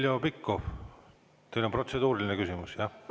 Heljo Pikhof, teil on protseduuriline küsimus, jah?